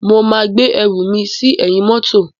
Mo máa gbé ẹrù mi sí ẹ̀yìn mọ́tò.